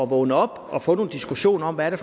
vågne op og få nogle diskussioner om hvad det